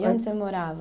E onde você morava?